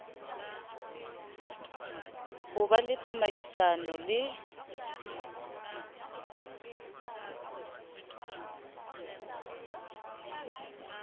ho be le tsamaisano le